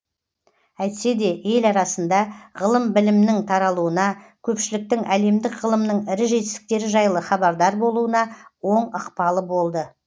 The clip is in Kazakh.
әйтсе де ел арасында ғылым білімнің таралуына көпшіліктің әлемдік ғылымның ірі жетістіктері жайлы хабардар болуына оң ықпалы болды